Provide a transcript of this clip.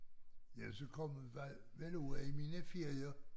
Ja så kom jeg vel vel ud af i mine ferier